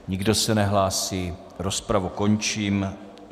Nikdo se nehlásí, rozpravu končím.